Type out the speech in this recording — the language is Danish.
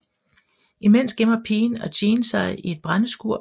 Imens gemmer pigen og Jean sig i et brændeskur